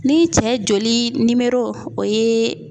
Ni cɛ joli o ye